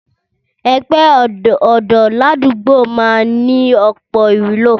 Ẹgbẹ́ ọ̀dọ́ ládùúgbò máa ń ní ọ̀pọ̀ ìwúlò